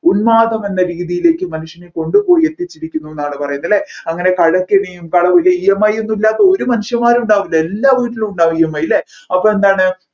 ഉന്മാദം എന്ന രീതിയിലേക്കു മനുഷ്യനെ കൊണ്ടുപോയി എത്തിച്ചിരിക്കുന്നൂന്നാണ് പറയുന്നത് അല്ലെ അങ്ങനെ കടക്കെണിയും കട ഒരു EMI ഒന്നും ഇല്ലാത്ത ഒരു മനുഷ്യന്മാരും ഉണ്ടാവില്ല എല്ലാ വീട്ടിലും ഉണ്ടാവും EMI അല്ലെ അപ്പൊ എന്താണ്